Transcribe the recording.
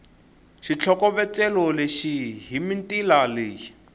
xitlhokovetselo lexi hi mitila leyi